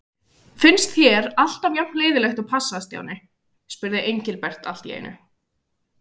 Finnst þér alltaf jafn leiðinlegt að passa, Stjáni? spurði Engilbert allt í einu.